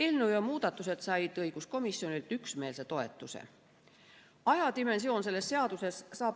Eelnõu ja muudatused said õiguskomisjonilt üksmeelse toetuse.